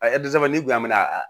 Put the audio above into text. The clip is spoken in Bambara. n'i kun y'an mi a